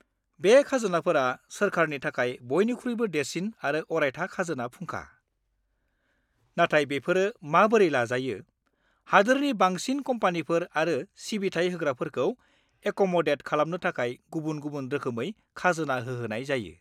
बे खाजोनाफोरा सोरखारनि थाखाय बयनिख्रुइबो देरसिन आरो अरायथा खाजोना फुंखा, नाथाय बेफोरो माबोरै लाजायो, हादोरनि बांसिन कम्पानिफोर आरो सिबिथाइ होग्राफोरखौ एक'मदेद खालामनो थाखाय गुबुन-गुबुन रोखोमै खाजोना होहोनाय जायो।